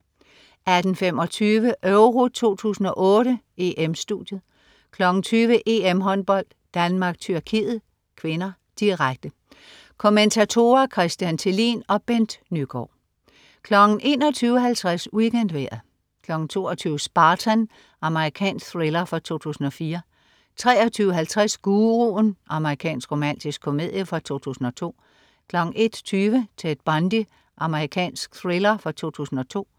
18.25 EURO 2008: EM-Studiet 20.00 EM-Håndbold: Danmark-Tyrkiet (k), direkte. Kommentatorer: Christian Thelin og Bent Nyegaard 21.50 WeekendVejret 22.00 Spartan. Amerikansk thriller fra 2004 23.50 Guruen. Amerikansk romantisk komedie fra 2002 01.20 Ted Bundy. Amerikansk thriller fra 2002